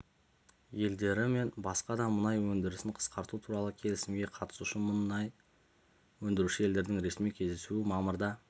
елдері мен басқа да мұнай өндірісін қысқарту туралы келісімге қатысушы мұнай өндіруші елдердің ресми кездесуі мамырда